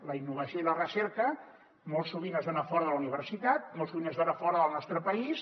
la innovació i la recerca molt sovint es dona fora de la universitat molt sovint es dona fora del nostre país